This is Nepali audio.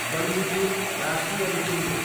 बन्दीपुर राष्ट्रिय निकुञ्ज